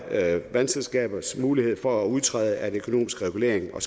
vandselskabers mulighed for at udtræde af den økonomiske regulering og